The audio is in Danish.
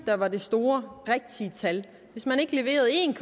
der var store rigtige tal hvis man ikke leverede en